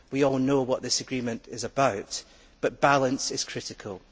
We all know what this agreement is about, but balance is critical.